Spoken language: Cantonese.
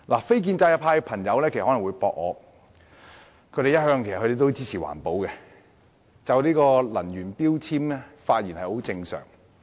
非建制派的朋友可能會反駁，他們一向支持環保，所以就能源標籤發言亦屬正常。